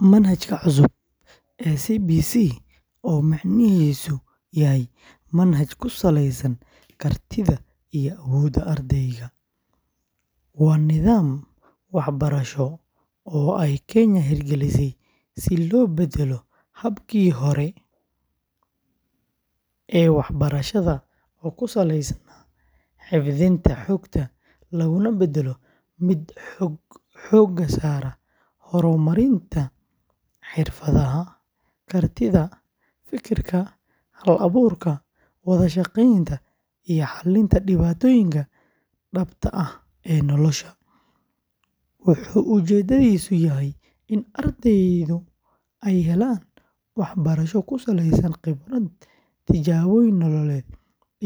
Manhajka cusub ee CBC, oo micnihiisu yahay manhaj ku saleysan kartida iyo awoodda ardayga, waa nidaam waxbarasho oo ay Kenya hirgelisay si loo beddelo habkii hore ee waxbarashada oo ku saleysnaa xifdinta xogta, looguna beddelo mid xoogga saara horumarinta xirfadaha, kartida fekerka, hal-abuurka, wada-shaqeynta, iyo xalinta dhibaatooyinka dhabta ah ee nolosha; wuxuu ujeedkiisu yahay in ardaydu ay helaan waxbarasho ku saleysan khibrad, tijaabooyin nololeed,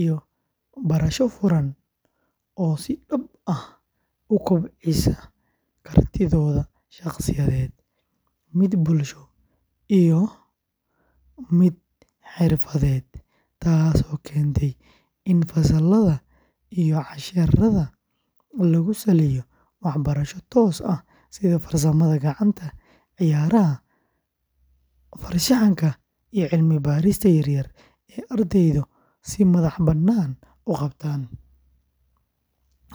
iyo barasho furan oo si dhab ah u kobcisa kartidooda shaqsiyadeed, mid bulsho iyo mid xirfadeed, taasoo keentay in fasallada iyo casharrada lagu saleeyo waxqabad toos ah sida farsamada gacanta, ciyaaraha, farshaxanka, iyo cilmi-baarista yar yar ee ardaydu si madax-bannaan u qabtaan;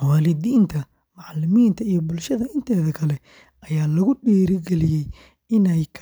waalidiinta, macallimiinta iyo bulshada inteeda kale ayaa lagu dhiirrigeliyey inay kaalin weyn.